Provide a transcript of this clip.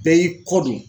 Bɛɛ y'i kɔ don